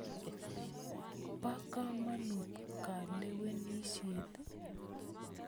Po kamonut kalewenisyet ii?